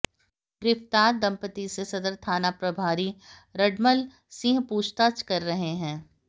गिरफ्तार दंपती से सदर थानाप्रभारी रडमल सिंह पूछताछ कर रहे हैं